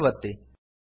save ಒತ್ತಿ